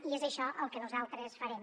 i és això el que nosaltres farem